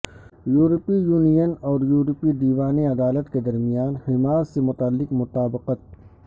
یورپی یونین اور یورپی دیوان عدالت کے درمیان حماس سے متعلق مطابقت